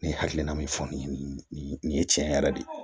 Ne hakilina min fɔ nin ye tiɲɛ yɛrɛ de ye